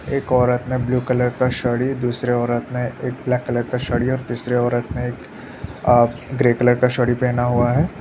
एक औरत ने ब्लू कलर का साड़ी दूसरे औरत ने एक ब्लैक कलर का साड़ी और तीसरे औरत ने एक अ ग्रे कलर का साड़ी पेहना हुआ है।